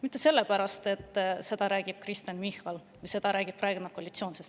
Mitte sellepärast, et seda räägib Kristen Michal, või et seda räägib praegune koalitsioon.